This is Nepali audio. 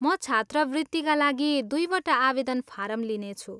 म छात्रवृत्तिका लागि दुईवटा आवेदन फारम लिनेछु।